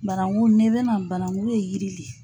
Barangu n'e bɛna banangu ye yiri le.